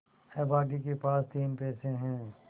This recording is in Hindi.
अभागे के पास तीन पैसे है